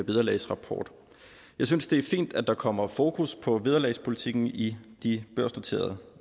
vederlagsrapport jeg synes det er fint at der kommer fokus på vederlagspolitikken i de børsnoterede